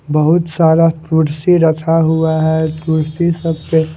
बहुत सारा कुर्सी रखा हुआ है कुर्सी सब पे--